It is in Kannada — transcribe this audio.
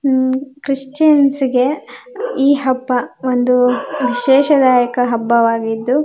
ಉಹ್ ಕ್ರಿಶ್ಚಿಯನ್ಸ್ ಗೆ ಈ ಹಬ್ಬ ಒಂದು ವಿಶೇಷದಾಯಕ ಹಬ್ಬವಾಗಿದ್ದು.